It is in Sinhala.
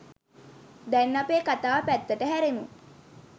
දැන් අපේ කතාව පැත්තට හැරෙමු.